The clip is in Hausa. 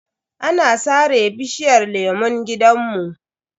An sare bishiyar lemun gidanmu.